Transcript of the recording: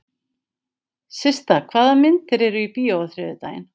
Systa, hvaða myndir eru í bíó á þriðjudaginn?